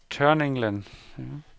Tørninglen